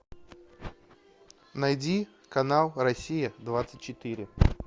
найди канал россия двадцать четыре